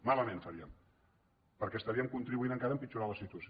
malament ho faríem perquè estaríem contribuint encara a empitjorar la situació